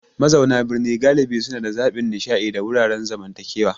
Mazauna birni galibi suna da zaɓin nishaɗi da wuraren zamantakewa.